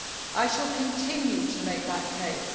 I shall continue to make that case.